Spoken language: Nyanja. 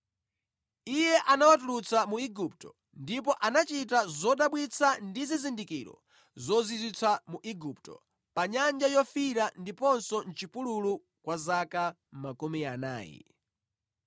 Iye anawatulutsa mu Igupto ndipo anachita zodabwitsa ndi zizindikiro zozizwitsa mu Igupto, pa Nyanja Yofiira, ndiponso mʼchipululu kwa zaka makumi anayi.